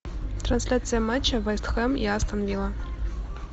трансляция матча вест хэм и астон вилла